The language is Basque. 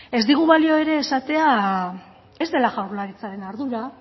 ez digu balio ere esatea ez dela jaurlaritzaren ardura